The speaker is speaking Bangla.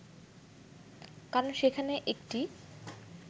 কারণ সেখানে একটি